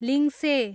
लिङ्से